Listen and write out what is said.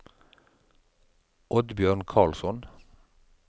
Oddbjørn Karlsson